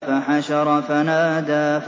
فَحَشَرَ فَنَادَىٰ